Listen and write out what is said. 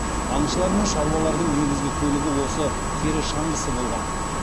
аңшылар мен шаруалардың негізгі көлігі осы тері шаңғысы болған